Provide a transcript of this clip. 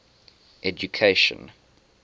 education